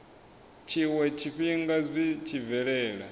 tshiwe tshifhinga zwi tshi bvelela